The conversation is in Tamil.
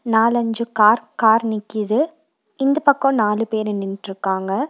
நாலஞ்சு கார் கார் நிக்கிது இந்த பக்கோ நாலு பேரு நின்னுட்ருக்காங்க.